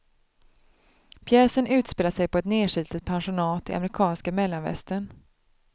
Pjäsen utspelar sig på ett nerslitet pensionat i amerikanska mellanvästern.